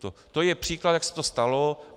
To je příklad, jak se to stalo.